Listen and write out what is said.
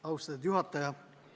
Austatud juhataja!